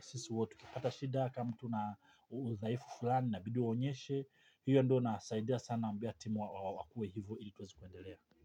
sisi wote tukipata shida kama tuna udhaifu fulani inabidi uonyeshe hiyo ndo inasaidia sana ambia timu wa wakue hivo ili tuweze kuendelea.